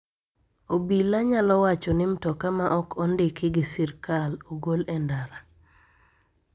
Obila nyalo wacho ni mtoka ma ok ondiki gi sirkal ogol e ndara.